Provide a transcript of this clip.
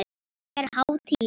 Er hátíð?